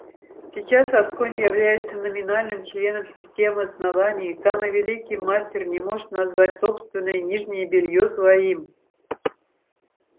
сейчас асконь является номинальным членом системы основания и самый великий мастер не может назвать собственное нижнее бельё своим